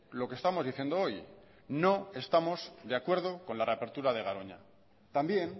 lo que estamos diciendo hoy no estamos de acuerdo con la reapertura de garoña también